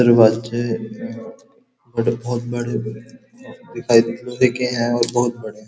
बहोत बड़े-बड़े दिखाई दिखे है और बहोत बड़े --